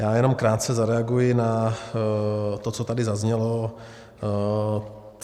Já jenom krátce zareaguji na to, co tady zaznělo.